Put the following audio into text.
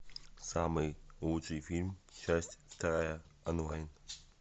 самый лучший фильм часть вторая онлайн